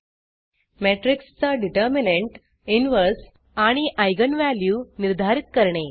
matrixमेट्रिक्स चा determinant inverse आणि eigenइगन व्हॅल्यू निर्धारित करणे